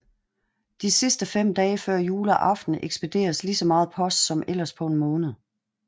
De sidste 5 dage før juleaften ekspederes lige så meget post som ellers på en måned